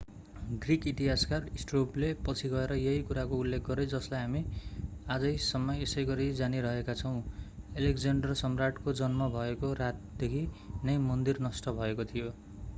Greek इतिहासकार स्ट्राबोले पछि गएर यही कुराको उल्लेख गरे जसलाई हामी आजैसम्म यसैगरि जानीरहेका छौं अलेक्ज्याण्डर सम्राटको जन्म भएको रातदेखि नै मन्दिर नष्ट भएको थियो